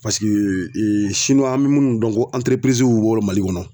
an be minnu dɔn ko w'u wolo Mali kɔnɔ